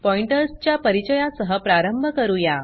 pointers च्या परिचया सह प्रारंभ करूया